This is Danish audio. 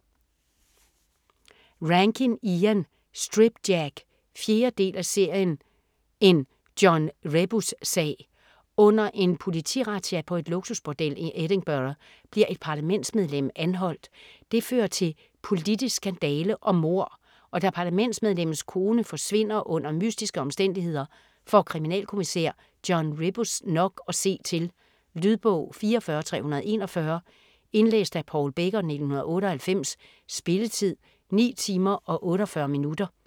Rankin, Ian: Strip Jack 4. del af serien En John Rebus-sag. Under en politirazzia på et luksusbordel i Edinburgh bliver et parlamentsmedlem anholdt. Det fører til politisk skandale og mord, og da parlamentsmedlemmets kone forsvinder under mystiske omstændigheder, får kriminalkommissær John Rebus nok at se til. Lydbog 44341 Indlæst af Paul Becker, 1998. Spilletid: 9 timer, 48 minutter.